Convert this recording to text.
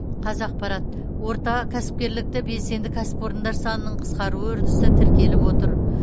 қазақпарат орта кәсіпкерліктегі белсенді кәсіпорындар санының қысқаруы үрдісі тіркеліп отыр